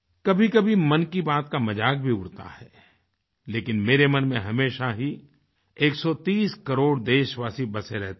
कभीकभी मन की बात का मजाक भी उड़ता है लेकिन मेरे मन में हमेशा ही 130 करोड़ देशवासी बसे रहते हैं